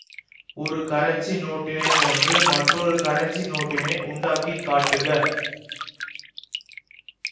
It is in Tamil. ஒரு கரன்சி நோட்டினைப் போன்று மற்றொரு கரன்சி நோட்டினை உண்டாக்கி காட்டுக